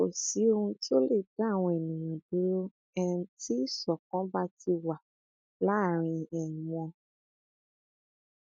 kò sí ohun tó lè dá àwọn ènìyàn dúró um tí ìṣọkan bá ti wà láàrín um wọn